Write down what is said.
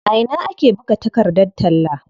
A ina ake buga takardar talla?